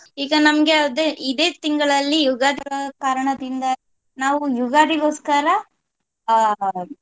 ಈಗ ನಮ್ಗೆ ಅದೇ ಇದೇ ತಿಂಗಳಲ್ಲಿ ಯುಗಾದಿ ಕಾರಣದಿಂದಾಗಿ ನಾವು ಯುಗಾದಿಗೊಸ್ಕರ ಅಹ್ .